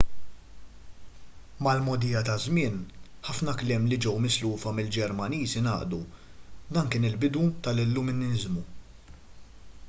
mal-mogħdija taż-żmien ħafna kliem li ġew mislufa mill-ġermaniż ingħaqdu dan kien il-bidu tal-illuminiżmu